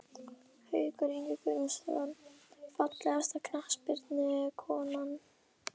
Haukur Ingi Guðnason Fallegasta knattspyrnukonan?